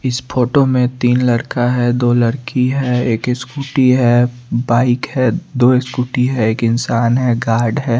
इस फोटो में तीन लड़का है। दो लड़की है एक स्कूटी है बाइक है दो स्कूटी है एक इंसान है गार्ड है।